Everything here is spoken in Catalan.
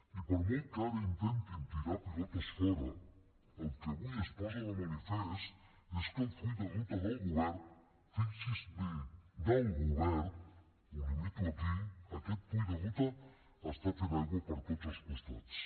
i per molt que ara intentin tirar pilotes fora el que avui es posa de manifest és que el full de ruta del govern fixi s’hi bé del govern ho limito aquí aquest full de ruta està fent aigua per tots els costats